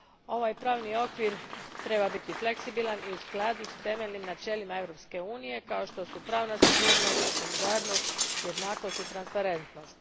Ovaj pravni okvir treba biti fleksibilan i u skladu s temeljnim načelima Europske unije kao što su pravna sigurnost, solidarnost, jednakost i transparentnost.